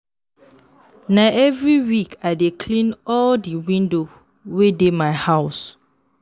Na every week I dey clean all di window wey dey my house.